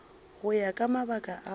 go ya ka mabaka ao